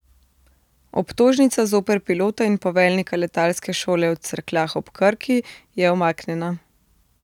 Obtožnica zoper pilota in poveljnika letalske šole v Cerkljah ob Krki je umaknjena.